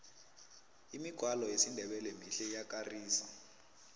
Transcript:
imigwalo yesindebele mihle iyakarisa